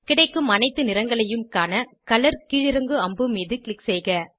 கிடைக்கும் அனைத்து நிறங்களையும் காண கலர் கீழிறங்கு அம்பு மீது க்ளிக் செய்க